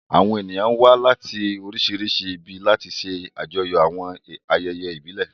Àwọn ènìyàn wá láti oríṣiríṣi ibi láti ṣe àjọyọ̀ àwọn ayẹyẹ ìbílẹ̀.